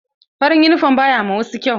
Farin yunifom ba ya ma wasu kyau.